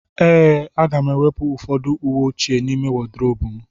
Ee,a ga m-ewepụ ụfọdụ uwe ochie n'ime wodrobu m.